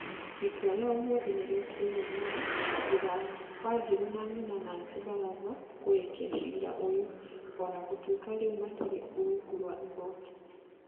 Itua rĩa ũmũthĩ nĩ rĩtereirwo mũno thũtha wa wanjiru na nyina nancy baraza kũrĩkia ciira ũyũ,o na gũtuĩka rĩu matirĩ rungu rwa igooti